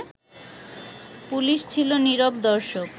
police ছিল নীরব দর্শক